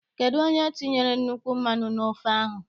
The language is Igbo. Kedụ onye tinyere nnukwu mmanụ n' ofe ahụ?